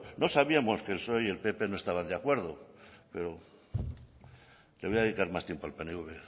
no sabíamos que el psoe y el pp no estaban de acuerdo le voy a dedicar más tiempo al pnv